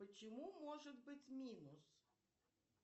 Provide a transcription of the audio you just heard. почему может быть минус